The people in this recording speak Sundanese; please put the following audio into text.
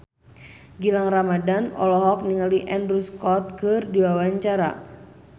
Gilang Ramadan olohok ningali Andrew Scott keur diwawancara